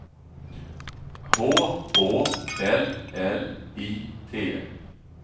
H Å L L I T